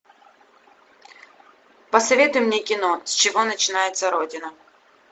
посоветуй мне кино с чего начинается родина